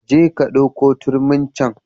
Je ka ɗauko turmin can